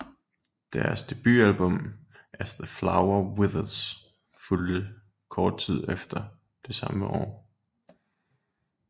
Deres debutalbum As The Flower Withers fulgte kort tid efter det samme år